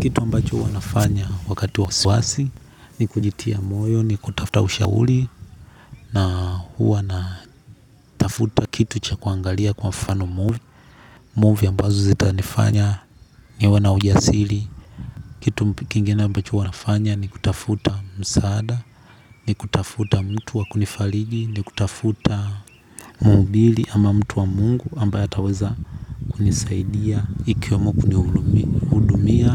Kitu ambacho huwa nafanya wakati wa wasiwasi ni kujitia moyo ni kutafuta ushauli. Na huwa na tafuta kitu cha kuangalia kwa mfano movie. Movie ambazo zitanifanya niwe na ujasili. Kitu kingine ambacho huwa nafanya ni kutafuta msaada ni kutafuta mtu wa kunifaliji, ni kutafuta muhubili ama mtu wa mungu ambaye ataweza kunisaidia. Ikiwamo kuni hudumia,